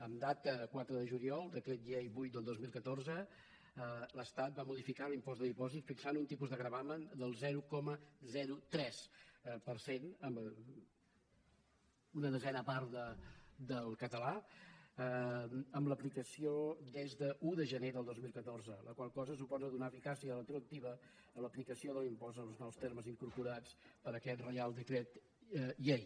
en data quatre de juliol decret llei vuit del dos mil catorze l’estat va modificar l’impost de dipòsits fixant un tipus de gravamen del zero coma tres per cent una desena part del català amb aplicació des d’un de gener del dos mil catorze la qual cosa suposa donar eficàcia retroactiva a l’aplicació de l’impost en els nous termes incorporats per aquest reial decret llei